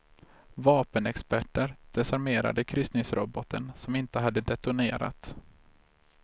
Vapenexperter desarmerade kryssningsrobben som inte hade detonerat.